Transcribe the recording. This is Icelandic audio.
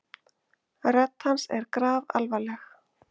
Rödd hans er grafalvarleg.